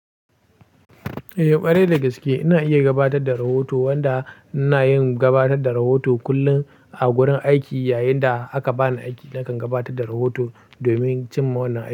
Eh, ƙwarai da gaske ina iya gabatar da rahoto wanda ina yin gabatar da rahoto kullum a gurin aiki. Yayin da aka bani aiki, nakan gabatar da rahoto domin cin mannan aiki.